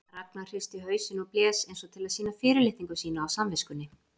Ragnar hristi hausinn og blés eins og til að sýna fyrirlitningu sína á samviskunni.